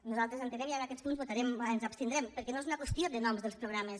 nosaltres ho entenem i en aquests punts ens abstindrem perquè no és una qüestió de noms dels programes